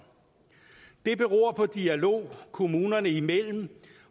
det beror på dialog kommunerne imellem